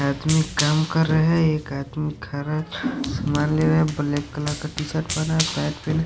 आदमी काम कर रहा है एक आदमी खरा सामान ले रहा है ब्लैक कलर का टी_शर्ट पहना है पैंट पहना है।